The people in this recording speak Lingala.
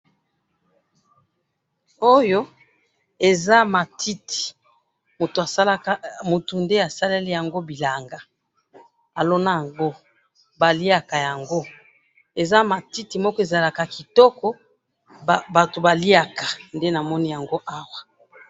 Oyo eza matiti, mutu asalaka, mutu nde asaleli yango bilanga, alona yango, baliyaka yango, eza matiti moko ezalaka kitoko batu baliyaka nde namoni awa.